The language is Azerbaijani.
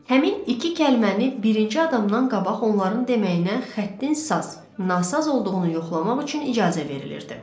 Həmin iki kəlməni birinci adamdan qabaq onların deməyinə xəttin saz, nasaz olduğunu yoxlamaq üçün icazə verilirdi.